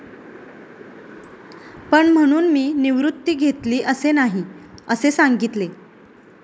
पण म्हणून मी निवृत्ती घेतली असे नाही, असे सांगितले.